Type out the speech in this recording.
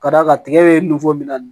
Ka d'a kan tigɛ bɛ min na